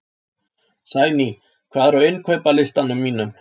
Sæný, hvað er á innkaupalistanum mínum?